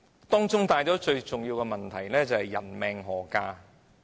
當中所帶出最重要的問題是：人命何價呢？